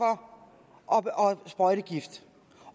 af og sprøjtegift